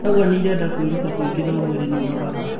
arauga nĩ ĩrenda kũĩruta kwĩngĩ na mwĩrĩ nĩ ũnogaga.